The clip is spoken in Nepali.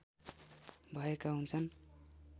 भएका हुन्छन्